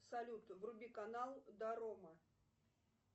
салют вруби канал дорома